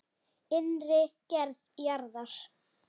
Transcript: Innri gerð jarðar